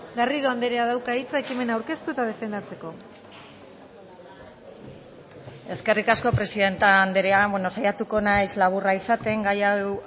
garrido andreak dauka hitza ekimena aurkeztu eta defendatzeko eskerrik asko presidente andrea bueno saiatuko naiz laburra izaten gai hau